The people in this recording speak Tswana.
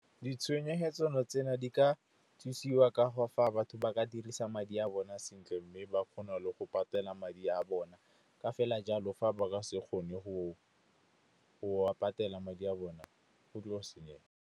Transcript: Ditshenyegelo tse di ka thusiwa ka go fa batho ba ka dirisa madi a bona sentle, mme ba kgone le go patela madi a bona. Ka fela jalo, fa ba ka se kgone go a patela madi a bona go tlo senyega.